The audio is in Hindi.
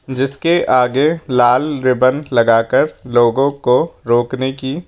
जिसके आगे लाल रिबन लगाकर लोगों को रोकने की--